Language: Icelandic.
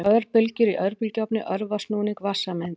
Örbylgjur í örbylgjuofni örva snúning vatnssameinda.